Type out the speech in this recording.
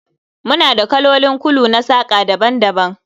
Muna da kalolin kulu na saƙa daban-daban